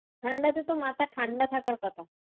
ঠান্ডাতে তো মাথা ঠান্ডা থাকার কথা।